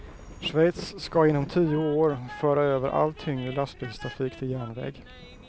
Schweiz ska inom tio år föra över all tyngre lastbilstrafik till järnväg.